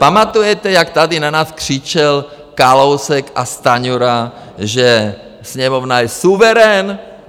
Pamatujete, jak tady na nás křičel Kalousek a Stanjura, že Sněmovna je suverén?